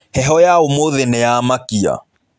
Heho ya ũmũthĩ nĩyamakia.